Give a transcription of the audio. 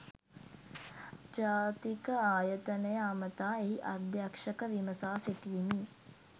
ජාතික ආයතනය අමතා එහි අධ්‍යක්ෂක විමසා සිටියෙමි